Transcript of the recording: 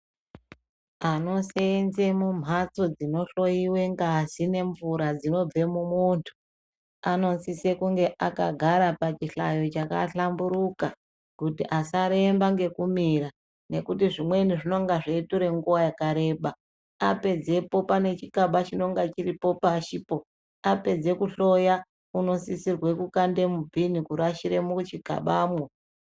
Anoseenze mumhatso dzinohloiwe ngazi nemvura dzinobve mumuntu anosise kunge akagara pachihlayo chakahlamburuka kuti asaremba ngekumira nekuti zvimweni zvinonga zveitora nguwa yakareba apedzepo pane chikaba chinonga chiripo pashipo apedze kuhloya unosisirwe kukande mubhini kurashire muchikabamwo.